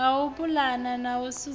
ha u pulana na sedzulusa